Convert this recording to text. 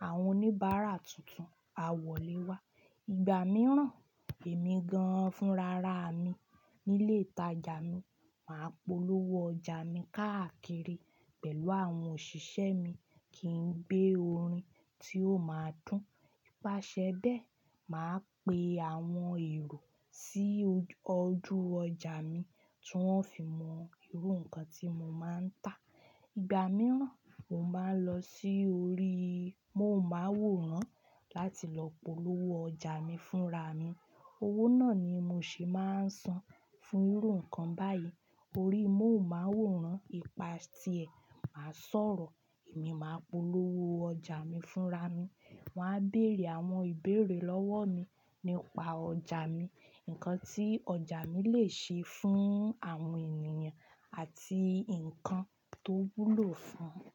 mo máa ń san owó fún àwọn sọ̀rọ̀sọ̀rọ̀ nílé rédíò, wọ́n bá mi ṣe ìpolówó ọjà mi. Ìgbà mìíràn, èmi gan-an fúnra ra mi nílé ìtajà mi, màá polówó ọjà mi káàkiri pẹ̀lú àwọn òṣìṣẹ́ mi kí n gbé orin tí ó máa dùn. Ípasẹ̀ bẹ́ẹ̀, màá pe àwọn èrò sí ojú ọjà mi tí wọ́n ó fi mọ irú nǹkan tí mo máa ń tà. Ìgbà mìíràn, mo máa ń lọ sí orí móhùnmáwòrán láti lọ polówó ọjà mi fúnra mi. Owó náà ni mo ṣe máa ń san fún irú nǹkan báyìí. Orí móhùnmáwòrán, ipa ti ẹ̀, màá sọ̀rọ̀, èmi máa polówó ọjà mi fúnra mi. Wọn á bèrè àwọn ìbéèrè lọ́wọ́ mi nípa ọjà mi, nǹkan tí ọjà mi lè ṣe fún àwọn ènìyàn àti nǹkan tó wúlò fún un.